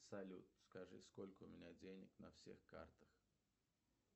салют скажи сколько у меня денег на всех картах